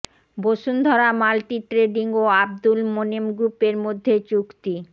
Bashundhara multi trading ও আব্দুল মোনেম গ্রুপের মধ্যে চুক্তি